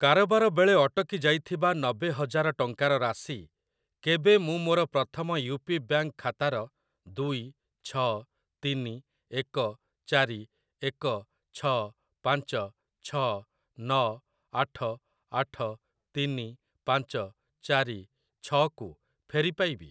କାରବାର ବେଳେ ଅଟକି ଯାଇଥିବା ନବେ ହଜାର ଟଙ୍କାର ରାଶି କେବେ ମୁଁ ମୋର ପ୍ରଥମ ୟୁ ପି ବ୍ୟାଙ୍କ୍‌ ଖାତାର ଦୁଇ ଛଅ ତିନି ଏକ ଚାରି ଏକ ଛଅ ପାଞ୍ଚ ଛଅ ନଅ ଆଠ ଆଠ ତିନି ପାଞ୍ଚ ଚାରି ଛଅ କୁ ଫେରି ପାଇବି?